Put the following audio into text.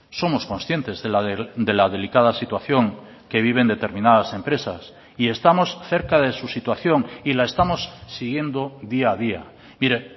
somos conscientes de la delicada situación que viven determinadas empresas y estamos cerca de su situación y la estamos siguiendo día a día mire